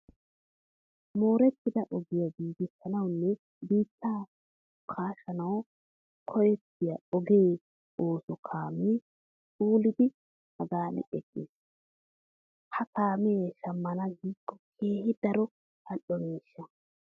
Moorettida ogiya giigissanawunne biittaa kaashanawu koyettiya oge ooso kaamee phooliiddi haggan eqqiis. Ha kaamee shammana giikko keehi daro al"o miishsha.